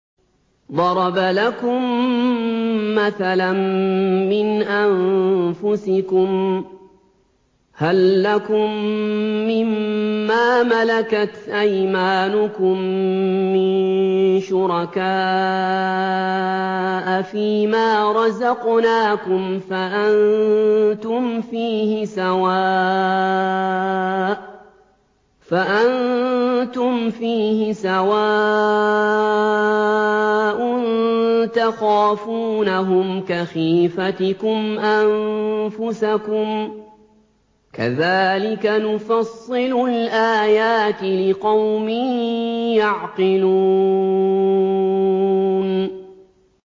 ضَرَبَ لَكُم مَّثَلًا مِّنْ أَنفُسِكُمْ ۖ هَل لَّكُم مِّن مَّا مَلَكَتْ أَيْمَانُكُم مِّن شُرَكَاءَ فِي مَا رَزَقْنَاكُمْ فَأَنتُمْ فِيهِ سَوَاءٌ تَخَافُونَهُمْ كَخِيفَتِكُمْ أَنفُسَكُمْ ۚ كَذَٰلِكَ نُفَصِّلُ الْآيَاتِ لِقَوْمٍ يَعْقِلُونَ